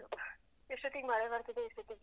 ಎಷ್ಟೋತಿಗ್ ಮಳೆ ಬರ್ತದೆ ಎಷ್ಟೋತಿಗೇ